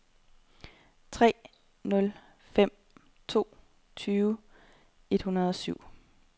tre nul fem to tyve et hundrede og syv